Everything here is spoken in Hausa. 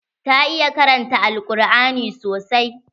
Ta iya karanta al-quran sosai.